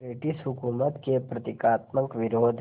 British हुकूमत के प्रतीकात्मक विरोध